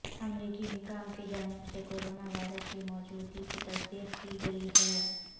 امریکی حکام کی جانب سے کورونا وائرس کی موجودگی کی تصدیق کی گئی ہے